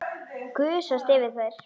Gusast yfir þær.